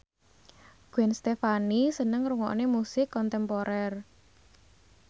Gwen Stefani seneng ngrungokne musik kontemporer